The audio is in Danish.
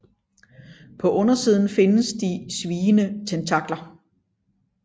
På undersiden findes de sviende tentakler